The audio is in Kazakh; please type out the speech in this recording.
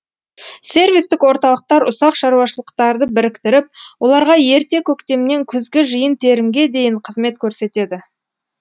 сервистік орталықтар ұсақ шаруашылықтарды біріктіріп оларға ерте көктемнен күзгі жиын терімге дейін қызмет көрсетеді